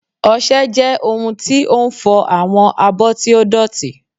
Ọṣẹ jẹ ohun ti o n fọ awọn abo ti o dotí